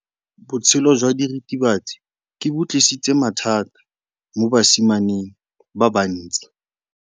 Botshelo jwa diritibatsi ke bo tlisitse mathata mo basimaneng ba bantsi.